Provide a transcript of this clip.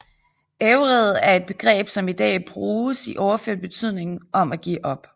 Ævred er et begreb som i dag bruges i overført betydning om at give op